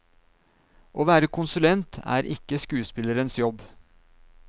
Å være konsulent er ikke skuespillerens jobb.